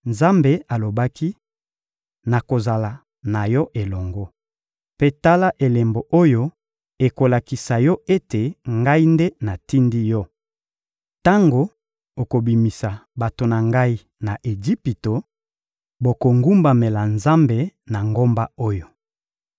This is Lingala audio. Nzambe alobaki: — Nakozala na yo elongo. Mpe tala elembo oyo ekolakisa yo ete Ngai nde natindi yo: tango okobimisa bato na Ngai na Ejipito, bokogumbamela Nzambe na ngomba oyo.